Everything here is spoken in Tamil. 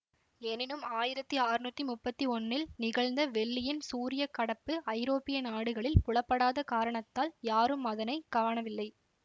எனினும் ஆயிரத்தி ஆற்நூத்தி முப்பத்தி ஒன்னில் நிகழ்ந்த வெள்ளியின் சூரிய கடப்பு ஐரோப்பிய நாடுகளில் புலப்படாத காரணத்தால் யாரும் அதனை காணவில்லை